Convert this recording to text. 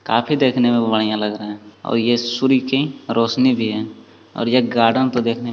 काफी देखने में बढ़िया लग रहे हैं और ये सूर्य की रोशनी भी है और ये गार्डन तो देखने--